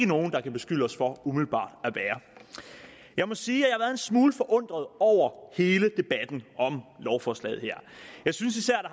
nogen der kan beskylde os for at være jeg må sige at smule forundret over hele debatten om lovforslaget her jeg synes især